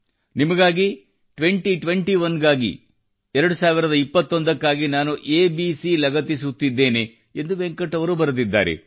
ನಿಮಗಾಗಿ twenty twenty one ಗಾಗಿ ಎರಡು ಸಾವಿರದ ಇಪ್ಪತ್ತೊಂದಕ್ಕಾಗಿ ನಾನು ಎಬಿಸಿ ಲಗತ್ತಿಸುತ್ತಿದ್ದೇನೆ ಎಂದು ವೆಂಕಟ್ ಅವರು ಬರೆದಿದ್ದಾರೆ